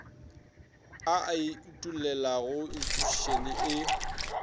a e utollelago institšhušene e